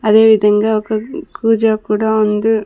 అదే విధంగా ఒక కు కూజా కూడా ఉంది.